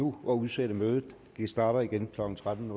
nu at udsætte mødet det starter igen klokken tretten